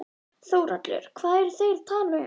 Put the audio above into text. Þórhallur: Hvað eru þeir að tala um þar?